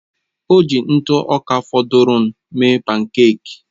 O ji ntụ ọka fọdụrụnụ mee pánkèk